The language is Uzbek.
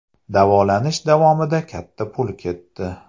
Davolanish davomida katta pul ketdi.